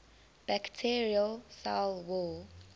bacterial cell wall